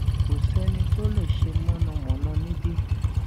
kò sẹni tó lè ṣe mọnàmọná níbí